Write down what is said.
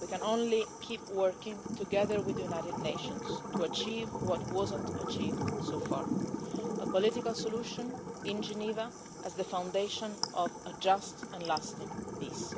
We can only keep working together with the United Nations to achieve what has not been achieved so far a political solution in Geneva as the foundation of a just and lasting peace.